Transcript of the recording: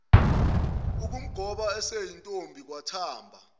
ukumgoba eseyintombi wathamba